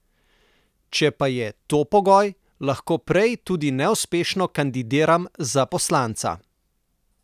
Če pa je to pogoj, lahko prej tudi neuspešno kandidiram za poslanca.